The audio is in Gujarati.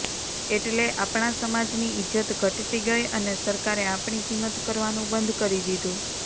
એટલે આપણા સમાજની ઇજ્જત ઘટતી ગઈ અને સરકારે આપણી કિંમત કરવાનું બંધ કરી દીધું